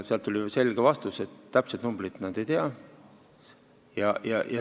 Tuli selge vastus, et täpset numbrit nad ei tea.